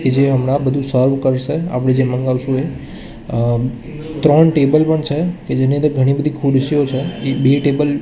જે અમના બધુ સર્વ કરસે આપડે જે મંગાવસુ એ અ ત્રણ ટેબલ પણ છે કે જેની અંદર ઘણી બધી ખુરસીઓ છે એ બે ટેબલ --